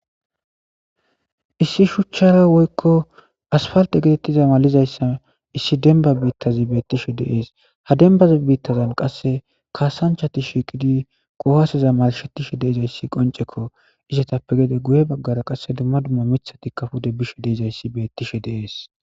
Issi shuchchara woykko asfalte getettiza malizayssa issi denba biittazi beettishe deees hadenbaza biittazan qasse kaasanchati shiiqidi kohaaseza malshetishe deizayssi qonceko ishatappe gede guye baggara qasse dumma dumma mithati kafude bishe deizayssi beettishe deees.